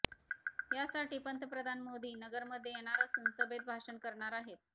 यासाठी पंतप्रधान मोदी नगरमध्ये येणार असून सभेत भाषण करणार आहेत